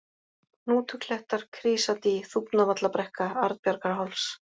Hnútuklettar, Krýsadý, Þúfnavallabrekka, Arnbjarnarháls